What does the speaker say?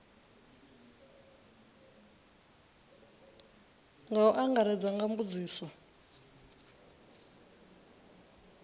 nga u angaredza nga mbudziso